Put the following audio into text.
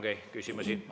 Teile ongi küsimusi.